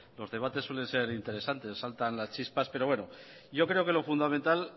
los debates suelen ser interesantes saltan las chispas pero bueno yo creo que lo fundamental